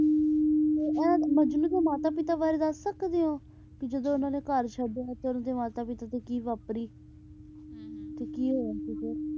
ਤੇ ਐ ਮਜਨੂੰ ਦੇ ਮਾਤਾ ਪਿਤਾ ਬਾਰੇ ਦੱਸ ਸਕਦੇ ਹੋ ਕੇ ਜਦੋ ਉਹਨਾਂ ਨੇ ਘਰ ਛੱਡਿਆ ਤਾਂ ਉਹਨਾਂ ਦੇ ਮਾਤਾ ਪਿਤਾ ਤੇ ਕੀ ਵਾਪਰੀ ਹੁੰ ਹੁੰ ਤੇ ਕੀ ਹੋਇਆ ਸੀਗਾ।